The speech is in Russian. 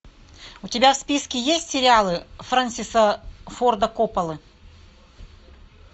у тебя в списке есть сериалы фрэнсиса форда копполы